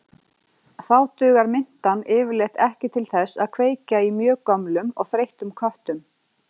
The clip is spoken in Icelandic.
Þá dugar mintan yfirleitt ekki til þess að kveikja í mjög gömlum og þreyttum köttum.